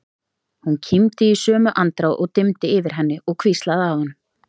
Hún kímdi í sömu andrá og dimmdi yfir henni og hvíslaði að honum